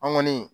An kɔni